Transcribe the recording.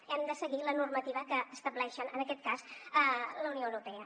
hem de seguir la normativa que estableix en aquest cas la unió europea